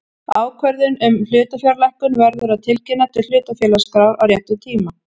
Ákvörðun um hlutafjárlækkun verður að tilkynna til hlutafélagaskrár á réttum tíma.